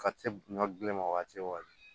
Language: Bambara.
Ka se ɲɔ gulema waati o waati